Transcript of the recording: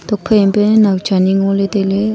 tokphai ma pe nawcha ni ngoley tailey.